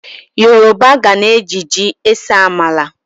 Yoroba gana e ji ji ese amala.